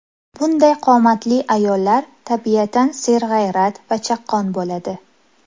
Bunday qomatli ayollar tabiatan serg‘ayrat va chaqqon bo‘ladi.